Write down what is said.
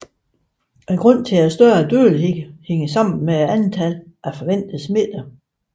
Grunden til denne større dødelighed hænger sammen med antallet af forventede smittede